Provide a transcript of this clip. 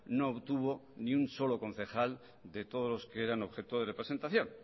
no obtuvo ni un solo concejal de todos los que eran objeto de representación